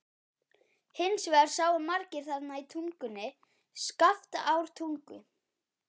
Hins vegar sáu margir þarna í Tungunni, Skaftártungu.